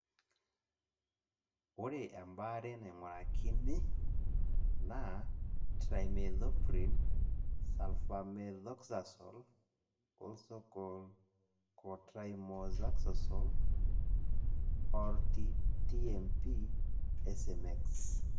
Ore ebaare naing'urakini naa trimethoprim sulfamethoxazole (also called co trimoxazole, or TMP SMX).